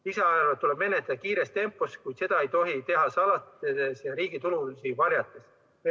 Lisaeelarvet tuleb menetleda kiires tempos, kuid seda ei tohi teha salastades ja riigi tulusid varjates.